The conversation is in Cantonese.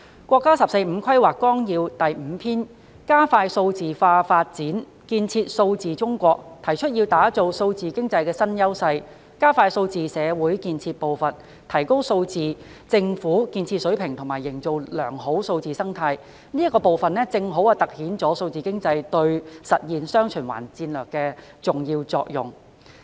在《十四五規劃綱要》第五篇"加快數位化發展，建設數字中國"中，提出要打造數字經濟新優勢、加快數字社會建設步伐、提高數字政府建設水平及營造良好數字生態，這個部分正好突顯數字經濟對實現"雙循環"戰略的重要作用。